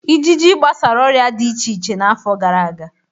Ịjịjị gbasara ọrịa dị iche iche n'afọ gara aga.